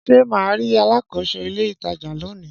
Ṣé mà ri alákòóso ilé ìtajà lónìí?